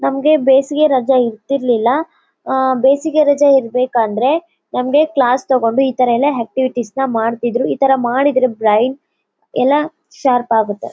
ನಮಗೆ ಬೇಸಿಗೆ ರಜಾ ಇರ್ತಿರಲಿಲ್ಲ ಆಹ್ಹ್ ಬೇಸಿಗೆ ರಜಾ ಇರಬೇಕಂದ್ರೆ ನಮಗೆ ಕ್ಲಾಸ್ ತಗೊಂಡು ಈ ತರ ಎಲ್ಲಾ ಆಕ್ಟಿವಿಟೀಸ್ ಮಾಡ್ತಿದ್ರು. ಈ ತರ ಮಾಡಿದ್ರೆ ಬ್ರೈನ್ ಎಲ್ಲಾ ಶಾರ್ಪ್ ಆಗುತ್ತೆ.